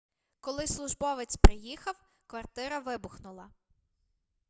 коли службовець приїхав квартира вибухнула